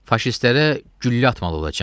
Faşistlərə güllə atmalı olacam?